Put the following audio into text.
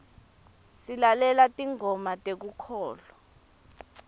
silalela tingoma tekukholwa